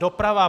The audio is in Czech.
Doprava.